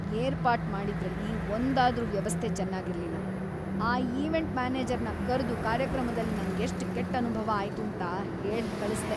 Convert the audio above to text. ಏರ್ಪಾಟ್‌ ಮಾಡಿದ್ರಲ್ಲಿ‌ ಒಂದಾದ್ರೂ ವ್ಯವಸ್ಥೆ ಚೆನ್ನಾಗಿರ್ಲಿಲ್ಲ, ಆ ಈವೆಂಟ್‌ ಮ್ಯಾನೇಜರ್ನ ಕರ್ದು ಕಾರ್ಯಕ್ರಮದಲ್ಲಿ ನಂಗೆಷ್ಟ್‌ ಕೆಟ್‌ ಅನುಭವ ಅಯ್ತೂಂತ ಹೇಳ್‌ ಕಳಿಸ್ದೆ.